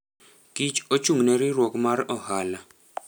Kich ochung'ne riwruok mar ohala.